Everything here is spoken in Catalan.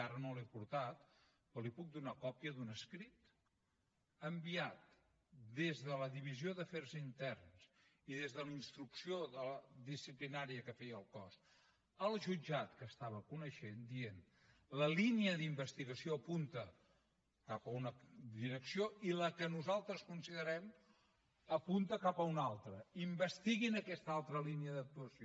ara no la hi he portat però li puc donar còpia d’un escrit enviat des de la divisió d’afers interns i des de la instrucció disciplinària que feia el cos al jutjat que ho estava coneixent dient la línia d’investigació apunta cap a una direcció i la que nosaltres considerem apunta cap a una altra investiguin aquesta altra línia d’actuació